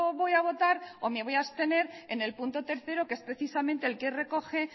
voy a votar o me voy a abstener en el punto tercero que es precisamente el que recoge